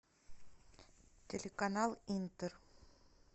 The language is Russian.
телеканал интер